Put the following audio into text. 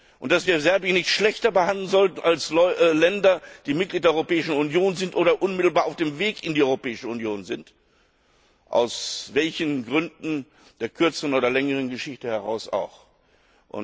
und dass wir Serbien nicht schlechter behandeln sollten als Länder, die Mitglied der Europäischen Union sind oder unmittelbar auf dem Weg in die Europäischen Union sind, aus welchen Gründen der kürzeren oder längeren Geschichte auch immer.